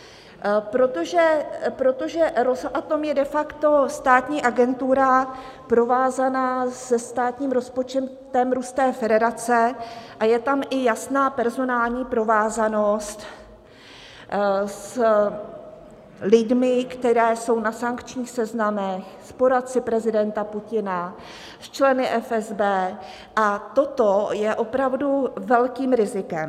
Protože Rosatom je de facto státní agentura provázaná se státním rozpočtem Ruské federace a je tam i jasná personální provázanost s lidmi, kteří jsou na sankčních seznamech, s poradci prezidenta Putina, s členy FSB, a toto je opravdu velkým rizikem.